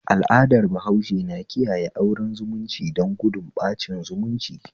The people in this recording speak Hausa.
Al'adar bahaushe na kiyaye auren zumunci don gudun ɓacin zumunci